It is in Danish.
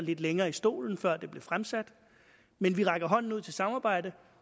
lidt længere i stolen før det blev fremsat men vi rækker hånden ud til samarbejde